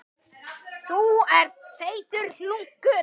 Hvernig er staðan á ykkur?